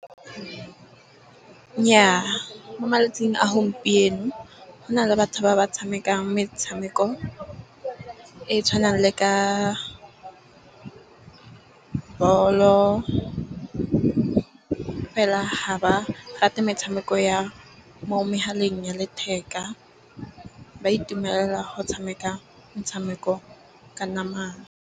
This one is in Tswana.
Nnyaa mo malatsing a gompieno go na le batho ba ba tshamekang metshameko e tshwanang le ka bolo, fela ha ba rate metshameko ya mo megaleng ya letheka. Ba itumela go tshameka metshameko ka nama.